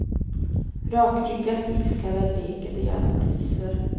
Rakryggat iskalla leker de gärna poliser.